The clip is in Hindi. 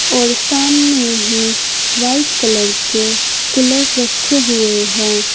और सामने ही व्हाइट कलर के कूलर रखे हुए है।